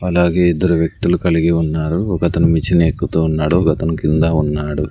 అలాగే ఇద్దరు వ్యక్తులు కలిగి ఉన్నారు ఒక అతను నిచ్చెన ఎక్కుతూ ఉన్నాడు ఒకతను కింద ఉన్నాడు.